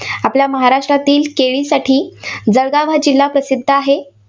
आपल्या महाराष्ट्रातील केळीसाठी जळगाव हा जिल्हा प्रसिद्ध आहे.